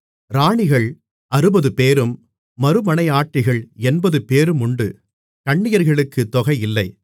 ராணிகள் அறுபதுபேரும் மறுமனையாட்டிகள் எண்பதுபேருமுண்டு கன்னியர்களுக்குத் தொகையில்லை